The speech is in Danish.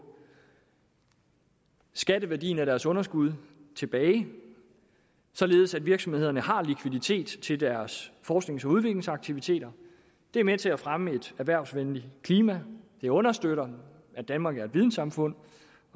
skatteværdien af deres underskud tilbage således at virksomhederne har likviditet til deres forsknings og udviklingsaktiviteter det er med til at fremme et erhvervsvenligt klima det understøtter at danmark er et vidensamfund